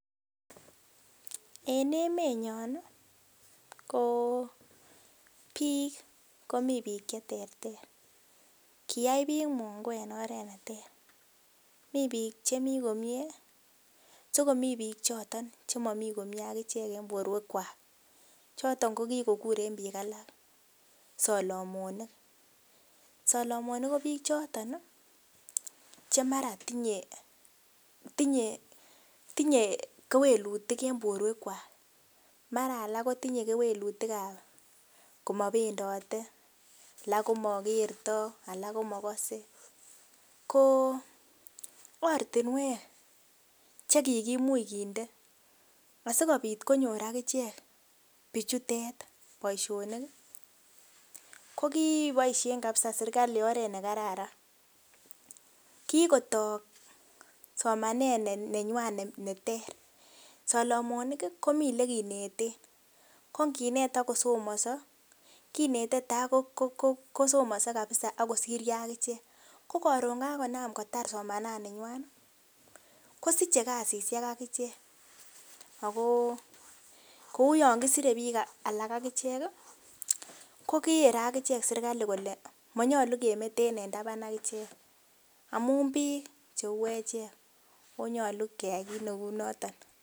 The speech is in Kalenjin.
En emenyon nii ko bik komi bik cheterter kiyai bik mungu en oret neterter, Mii bik chemii komie sikomii bik choton chemomi komie akichek en borwek kwak choton ko kokoruren bik alak solomonik. Solomonik ko bik choton nii chemara tinye tinye, tinye kewelutik en borwek kwak mara alak kotinye kewelutikab komopendote alak komokerto alak komokose. Ko ortinwek chekikimich kinde asikopit konyor akichek bichutet boishoni kii ko koboishen kabisa serkali oret nekararan kikoto somanet neywan neter, solomonik kii komie ole kineten ko nkinet ak kosomoso kinete takokosomoso kabisa akosiryo akichek. Ko korun kakonam kotar somananinywa kosiche kasishek akichek ako kou yon kosire bik alak akichek kii ko kere akichek sirkali kole monyolu kemeten en taban akichek amun bik cheu echek ako nyolu keyai kit neu noton.